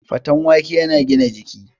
Faten wake yana gina jiki